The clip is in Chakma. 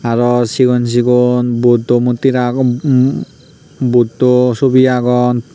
aro sigon sigon buddho murti agon buddho subi agon.